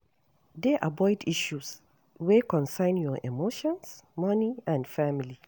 Dey avoid issues wey concern your emotions, money and family